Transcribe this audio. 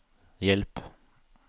hjelp